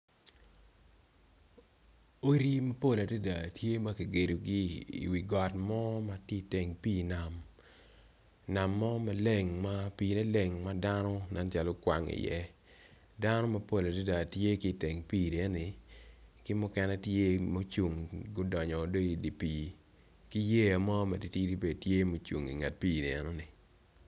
Odi ma pol adada tye makigedogi i wi got mo matye i teng pi nam, nam mo maleng pi ne leng madano nen calo kwango i ye dano iyea tye ki teng pi eni tye mukene gucung gudongo bene idi pi kiyea mo matitidi tye ma ocung i nget pi eni.